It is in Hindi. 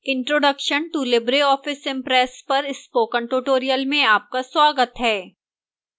introduction to libreoffice impress पर spoken tutorial में आपका स्वागत है